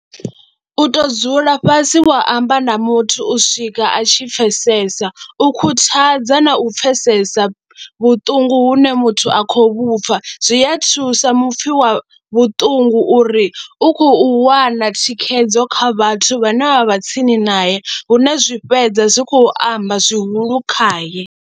U tou dzula fhasi wa amba na muthu u swika a tshi pfhesesa u khuthadza na u pfhesesa vhuṱungu hune muthu a khou vhu pfha zwi a thusa mupfhi wa vhuṱungu uri u khou wana thikhedzo kha vhathu vhane vha vha tsini nae hu na zwi fhedza zwi khou amba zwihulu khaye.